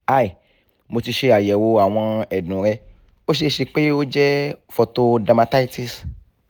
hi mo ti ṣe ayẹwo awọn ẹdun rẹ o ṣee ṣe pe o jẹ photodermatitis